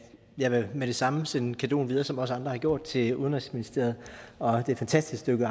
jeg vil med det samme sende cadeauen videre som også andre har gjort til udenrigsministeriet og det fantastiske